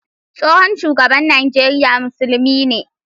Tsohon shugaban Najeriya musulmi ne